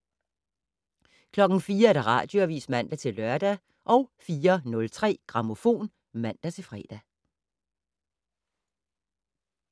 04:00: Radioavis (man-lør) 04:03: Grammofon (man-fre)